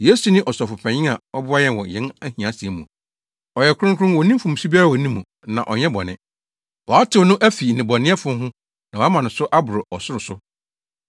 Yesu ne Ɔsɔfopanyin a ɔboa yɛn wɔ yɛn ahiasɛm mu. Ɔyɛ kronkron. Onni mfomso biara wɔ ne mu, na ɔnyɛ bɔne. Wɔatew no afi nnebɔneyɛfo ho na wɔama no so aboro ɔsoro so.